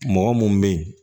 Mɔgɔ mun be yen